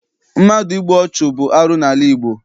Mmadụ ịgbụ ọchụ bụ arụ n'ala Igbo.